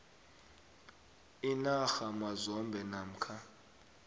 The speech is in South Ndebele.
inarha mazombe namkha